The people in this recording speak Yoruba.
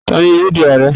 tanni yoo di Aare?